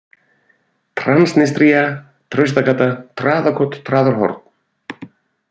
Transnistría, Traustagata, Traðakot, Traðarhorn